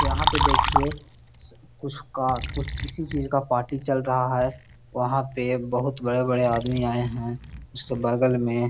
यहाँ पे देखिए स कुछ किसी चीज़ का पार्टी चल रहा हैं। वहाँ पे बहोत बड़े-बड़े आदमी आये हैं। उसके बगल में --